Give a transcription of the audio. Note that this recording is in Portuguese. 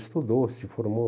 Estudou, se formou.